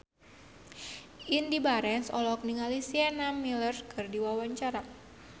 Indy Barens olohok ningali Sienna Miller keur diwawancara